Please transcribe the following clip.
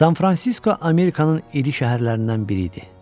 San Fransisko Amerikanın iri şəhərlərindən biri idi.